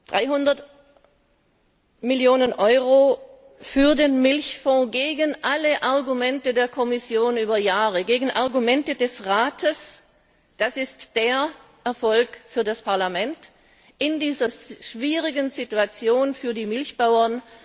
300 Millionen Euro für den Milchfonds gegen alle Argumente der Kommission über Jahre, gegen Argumente des Rates, das ist der Erfolg für das Parlament in dieser schwierigen Situation für die Milchbauern.